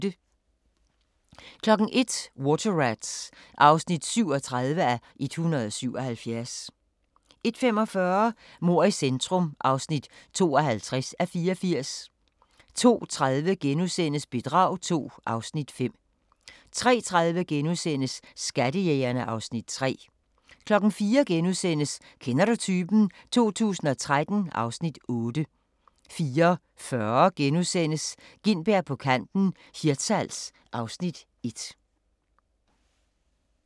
01:00: Water Rats (37:177) 01:45: Mord i centrum (52:84) 02:30: Bedrag II (Afs. 5)* 03:30: Skattejægerne (Afs. 3)* 04:00: Kender du typen? 2013 (Afs. 8)* 04:40: Gintberg på kanten - Hirtshals (Afs. 1)*